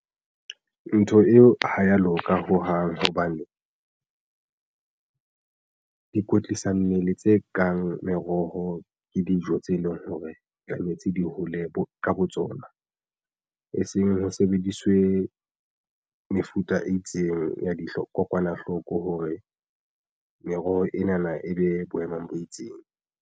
Ntho eo ha ya loka hohang hobane di kwetlisa mmele tse kang meroho. Ke dijo tse leng hore tlametse di hole bo ka bo tsona e seng ho sebediswe mefuta e itseng ya dikokwanahloko hore meroho ena na e be boemong bo itseng.